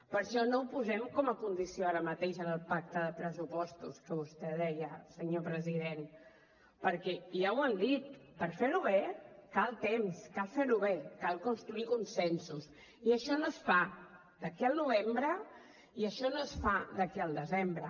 per això no ho posem com a condició ara mateix en el pacte de pressupostos que vostè deia senyor president perquè ja ho han dit per fer ho bé cal temps cal fer ho bé cal construir consensos i això no es fa d’aquí al novembre i això no es fa d’aquí al desembre